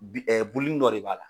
bi ɛ Boli nin dɔ de b'a la